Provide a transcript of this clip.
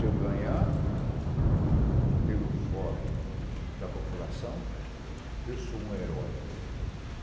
Se eu ganhar pelo voto da população, eu sou um herói.